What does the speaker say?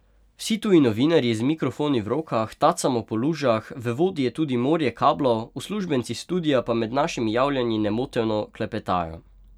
Vsi tuji novinarji z mikrofoni v rokah tacamo po lužah, v vodi je tudi morje kablov, uslužbenci studia pa med našimi javljanji nemoteno klepetajo.